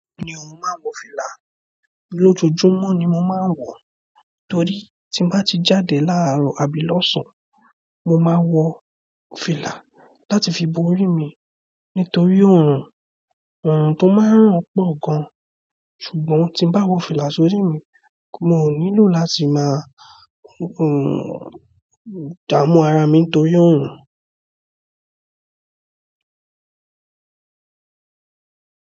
Oun mò ń wọ fìlà. Lójojúmọ́ ni mo máa ń wọ, torí tí n bá ti jáde láàrọ̀ àbí lọ́sàn-án, mo máa ń wọ fìlà láti fi bo orí mi nítorí òórùn. Òórùn tó máa ń ran pọ̀ gan, ṣùgbọ́n tí n bá wọ fìlà sórí mi, mo nílò láti máa un damu ara mi nítorí òórùn.